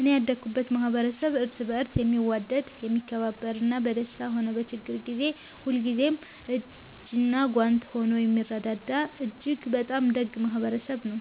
እኔ ያደኩበት ማኅበረሰብ እርስ በርስ የሚዋደድ፣ የሚከባበርና በደስታም ሆነ በችግር ጊዜ ሁልጊዜም እጅና ጓንት ሆኖ የሚረዳዳ እጅግ በጣም ደግ ማኅበረሰብ ነው።